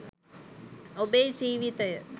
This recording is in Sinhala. ඔබේ ජීවිතය